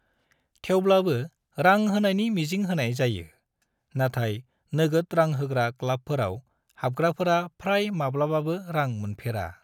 थेवब्लाबो रां होनायनि मिजिं होनाय जायो, नाथाय नोगोद रां होग्रा क्लाबफोराव हाबग्राफोरा फ्राय माब्लाबाबो रां मोनफेरा।